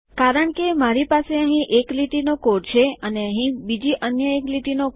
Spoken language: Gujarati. કારણ કે મારી પાસે અહીં એક લીટીનો કોડ છે અને અહીં બીજી અન્ય એક લીટીનો કોડ